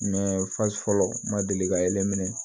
fɔlɔ n ma deli ka yelen minɛ